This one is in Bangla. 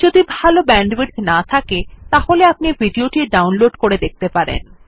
যদি ভাল ব্যান্ডউইডথ না থাকে তাহলে আপনি ভিডিও টি ডাউনলোড করে দেখতে পারেন